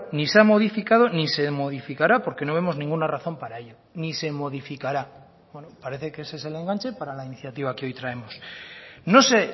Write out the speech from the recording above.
ni se ha modificado ni se modificará porque no vemos ninguna razón para ello ni se modificará parece que ese es el enganche para la iniciativa que hoy traemos no sé